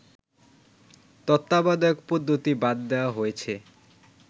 তত্ত্বাবধায়ক পদ্ধতি বাদ দেওয়া হয়েছে